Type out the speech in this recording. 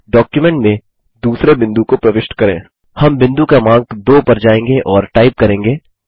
हम बिंदु क्रमांक 2 पर जायेंगे और टाइप करेंगे